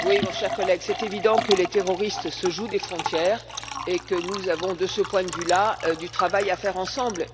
Cher collègue, c'est évident que les terroristes se jouent des frontières et que nous avons, de ce point de vue là, du travail à faire ensemble.